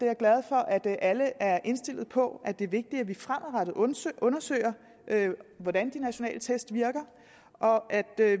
jeg glad for at alle er indstillet på at det er vigtigt at vi fremadrettet undersøger hvordan de nationale test virker og at